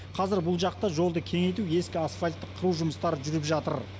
қазір бұл жақта жолды кеңейту ескі асфальтты қыру жұмыстары жүріп жатыр